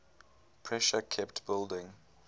pressure kept building